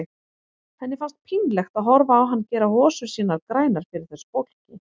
Henni fannst pínlegt að horfa á hann gera hosur sínar grænar fyrir þessu fólki.